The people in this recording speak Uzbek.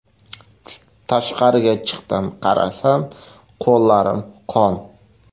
Tashqariga chiqdim, qarasam qo‘llarim qon.